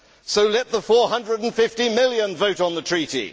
So let the 450 million vote on the Treaty.